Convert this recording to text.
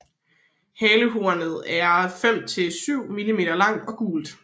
Halehornet er 5 til 7 mm langt og gult